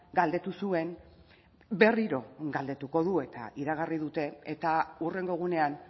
galdetu zuen berriro galdetuko du eta iragarri dute eta hurrengo egunean